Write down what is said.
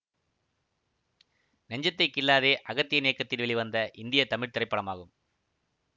நெஞ்சத்தைக் கிள்ளாதே அகத்தியன் இயக்கத்தில் வெளிவந்த இந்திய தமிழ் திரைப்படமாகும்